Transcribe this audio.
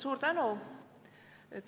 Suur tänu!